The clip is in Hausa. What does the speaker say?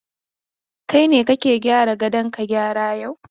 Kai ne kake gyara gadon, ka gyara yau!